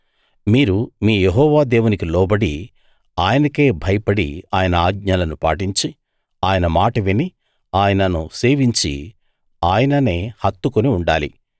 మీరు మీ యెహోవా దేవునికి లోబడి ఆయనకే భయపడి ఆయన ఆజ్ఞలను పాటించి ఆయన మాట విని ఆయనను సేవించి ఆయననే హత్తుకుని ఉండాలి